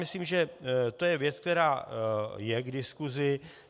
Myslím, že to je věc, která je k diskusi.